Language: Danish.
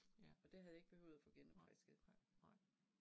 Ja. Nej nej nej